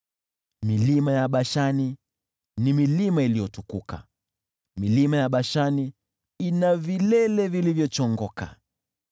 Milima ya Bashani ni milima iliyotukuka, milima ya Bashani ina vilele vilivyochongoka.